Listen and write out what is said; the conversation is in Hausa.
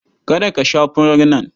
Kada ka sha furar nan!